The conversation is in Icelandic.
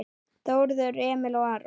Þórður Emil og Aron